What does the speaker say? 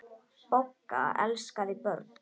Bogga elskaði börn.